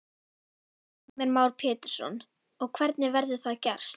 Heimir Már Pétursson: Og hvernig verður það gerst?